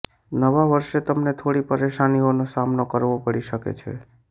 નવા વર્ષે તમને થોડી પરેશાનીનો સામનો કરવો પડી શકે છે